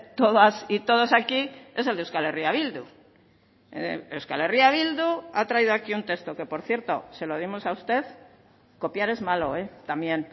todas y todos aquí es el de euskal herria bildu euskal herria bildu ha traído aquí un texto que por cierto se lo dimos a usted copiar es malo también